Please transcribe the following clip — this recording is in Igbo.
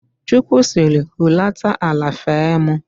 Chukwu sịrị, hulata ala fee mụ!